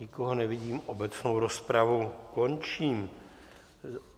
Nikoho nevidím, obecnou rozpravu končím.